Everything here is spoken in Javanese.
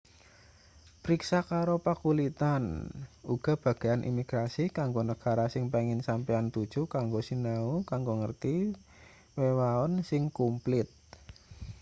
priksa karo pakulitan uga bagean imigrasi kanggo negara sing pengin sampeyan tuju kanggo sinau kanggo ngerti wewaon sing kumplit